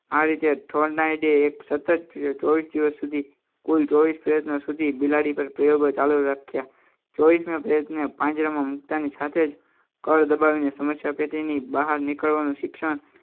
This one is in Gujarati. આ રીતે એક સતત ચોવીસ દિવસ સુધી કોઈ પ્રયત્ન સુધી બિલાડી પર પ્રયોગો ચાલુ રાખ્યા. ચોવીસ ને પાંજરામાં મુકતાની સાથે જ કળ દબાવીને સમસ્યા પેટી ની બહાર નીકળવાનું શિક્ષણ